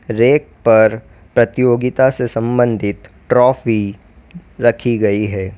Rake पर प्रतियोगिता से संबंधित ट्रॉफी रखी गई है।